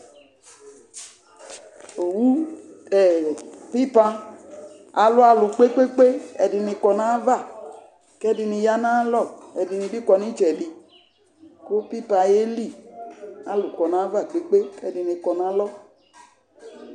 Pipan alʊ alʊ kpekpeekpe Ɛdini du ayava, kɛdini du ayalɔ kɛdini kɔ nitsɛdi ku pioan ƴeli kalʊ kɔnayava kpekpeekpe kalu kɔ nayalɔ